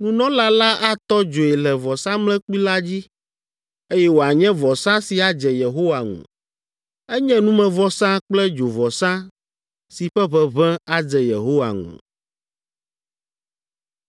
nunɔla la atɔ dzoe le vɔsamlekpui la dzi, eye wòanye vɔsa si adze Yehowa ŋu. Enye numevɔsa kple dzovɔsa si ƒe ʋeʋẽ adze Yehowa ŋu.